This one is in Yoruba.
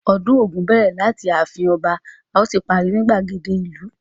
Ọdún Ògún bẹ̀rẹ̀ láti ààfin ọba ó sì parí ní ìgbàgede ìlú.